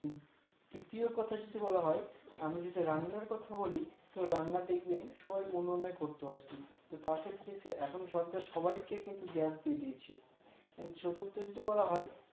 তৃতীয় কথা যদি বলা হয় আমি যদি রান্নার কথা বলি তাহলে রান্না দেখবেন সবাই উনুনে করতো আর কি তার ক্ষেত্রে এখন সরকার সবাই কে কিন্তু gas দিয়ে দিয়েছে সেক্ষেত্রে যদি বলা হয়